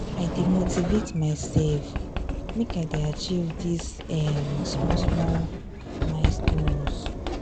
i dey motivate mysef make i dey achieve dese um small-small um small-small milestones.